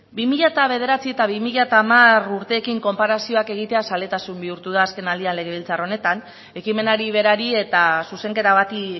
bi mila bederatzi eta bi mila hamar urteekin konparazioak egitea zaletasun bihurtu da azken aldian legebiltzar honetan ekimenari berari eta zuzenketa bati